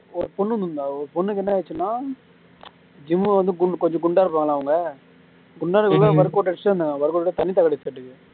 ஒரு பொண்ணுன்னு இருந்தா ஒரு பொண்ணுக்கு என்ன ஆச்சுன்னா gym வந்து குண் கொஞ்சம் குண்டா இருப்பாங்களா அவங்க குண்டா இருக்கும்போது workout அடிச்சுட்டு இருந்தாங்க workout அடிச்சுட்டு தண்ணி தாகம் அடிச்சுடருக்கு